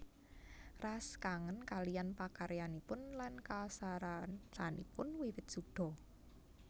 Ras kangen kaliyan pakaryanipun lan kasarasanipun wiwit suda